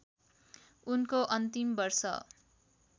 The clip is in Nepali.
उनको अन्तिम वर्ष